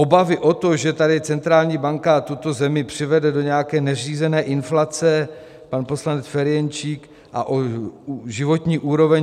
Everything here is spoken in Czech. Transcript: Obavy o to, že tady centrální banka tuto zemi přivede do nějaké neřízené inflace - pan poslanec Ferjenčík - a o životní úroveň.